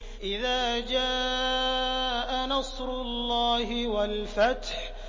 إِذَا جَاءَ نَصْرُ اللَّهِ وَالْفَتْحُ